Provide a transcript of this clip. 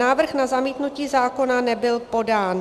Návrh na zamítnutí zákona nebyl podán.